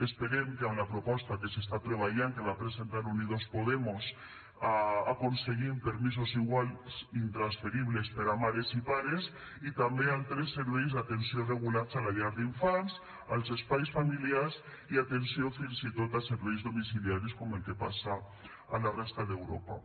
esperem que amb la proposta que s’està treballant que va presentar unidos podemos aconseguim permisos iguals i intransferibles per a mares i pares i també altres serveis d’atenció regulats a la llar d’infants als espais familiars i atenció fins i tot en serveis domiciliaris com el que passa a la resta d’europa